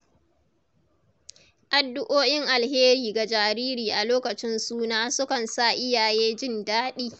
Addu'o'in alheri ga jariri a lokacin suna sukan sa iyaye jin daɗi.